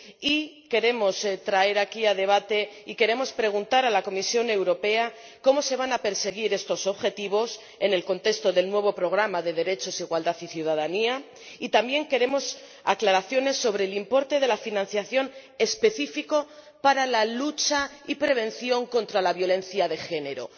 Y queremos traer aquí a debate y queremos preguntar a la Comisión Europea cómo se van a perseguir estos objetivos en el contexto del nuevo programa de Derechos, Igualdad y Ciudadanía, y también queremos aclaraciones sobre el importe de la financiación específico para la lucha y la prevención en materia de violencia de género.